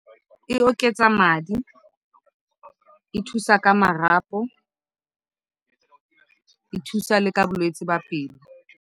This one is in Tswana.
E oketsa madi, e thusa ka marapo, e thusa le ka bolwetsi jwa pelo.